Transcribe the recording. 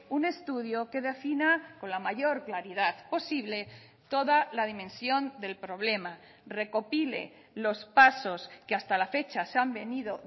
un estudio que defina con la mayor claridad posible toda la dimensión del problema recopile los pasos que hasta la fecha se han venido